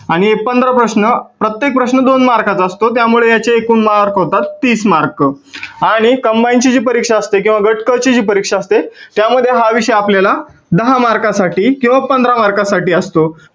आणि हे पंधरा प्रश्न प्रत्येक प्रश्न दोन मार्काचा असतो त्यामुळे हे मार्क होतात तीस मार्क आणि combine ची जी परीक्षा असते किंवा गट क ची जी परीक्षा असते त्यामध्ये हा विषय आपल्याला दहा मार्कासाठी किंवा पंधरा मार्कासाठी असतो.